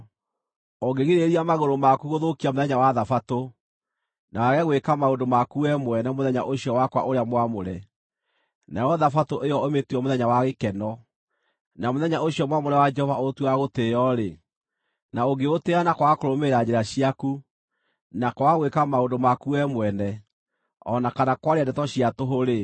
“Ũngĩgirĩrĩria magũrũ maku gũthũkia mũthenya wa Thabatũ, na wage gwĩka maũndũ maku we mwene mũthenya ũcio wakwa ũrĩa mwamũre, nayo Thabatũ ĩyo ũmĩtue mũthenya wa gĩkeno, na mũthenya ũcio mwamũre wa Jehova ũũtue wa gũtĩĩo-rĩ, na ũngĩũtĩĩa na kwaga kũrũmĩrĩra njĩra ciaku, na kwaga gwĩka maũndũ maku we mwene, o na kana kwaria ndeto cia tũhũ-rĩ,